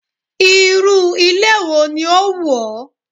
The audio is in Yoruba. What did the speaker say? Irú ilé wo ni ó wù ọ́?